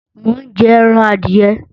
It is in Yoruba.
Mo ń jẹran adìẹ